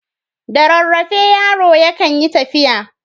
Da rarrafe yaro yakan yi tafiya.